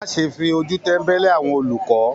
Má ṣe fi ojú tẹ̀mbẹ́lẹ́ àwọn olùkọ!